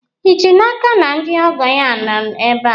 ị ji n'aka na ndị ọgọ ya nọ ebe a?